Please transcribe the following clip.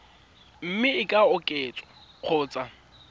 mme e ka oketswa kgotsa